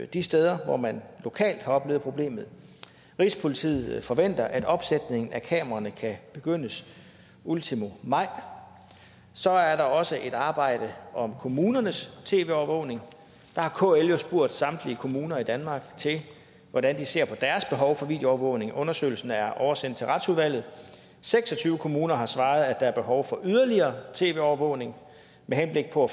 de steder hvor man lokalt har oplevet problemet rigspolitiet forventer at opsætningen af kameraer kan begyndes ultimo maj så er der også et arbejde om kommunernes tv overvågning der har kl jo spurgt samtlige kommuner i danmark hvordan de ser på deres behov for videoovervågning undersøgelsen er oversendt til retsudvalget seks og tyve kommuner har svaret at der er behov for yderligere tv overvågning med henblik på